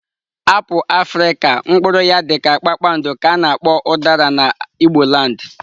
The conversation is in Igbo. Apụl afrịka mpuru ya dika kpakpandọ ka ana akpo udara na igboland.